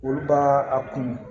Olu b'a a kun